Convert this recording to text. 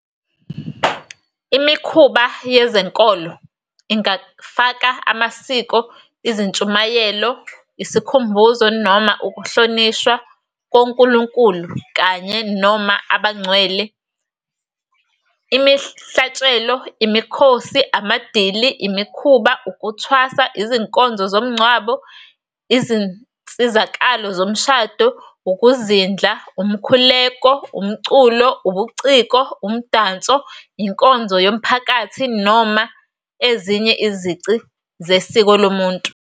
Imikhuba yezenkolo ingafaka amasiko, izintshumayelo, isikhumbuzo noma ukuhlonishwa, konkulunkulu kanye-noma abangcwele, imihlatshelo, imikhosi, amadili, imikhuba, ukuthwasa, izinkonzo zomngcwabo, izinsizakalo zomshado, ukuzindla, umkhuleko, umculo, ubuciko, umdanso, inkonzo yomphakathi, noma ezinye izici zesiko lomuntu.